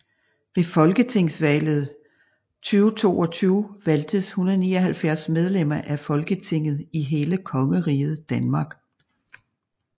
Ved Folketingsvalget 2022 valgtes 179 medlemmer af Folketinget i hele Kongeriget Danmark